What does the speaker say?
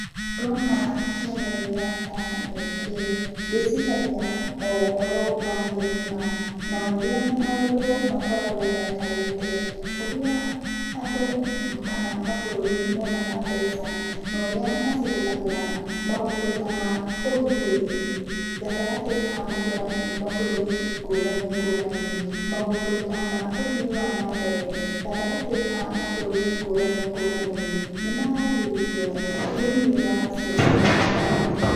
Ndona kĩonereria ta gĩkĩ, ndĩciragia o ũhoro wa thĩ ng'ima na ũrĩa maũndũ makoragwo maikarĩte, ũrĩa andũ kana mabũrũri monaga mbeca, na ũrĩa macihũthagĩra maũndũ ta ma ũgitĩri gatagatĩ ka mabũrũri ngũrani ngũrani, maũndũ ta ma ũthii wa nambere, gatagatĩ ka mabũrũri ngũrani ngũrani, nĩ maragĩrĩrio thĩinĩ wa cionereria ta ici.